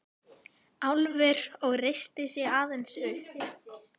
Álfur og reisti sig aðeins upp.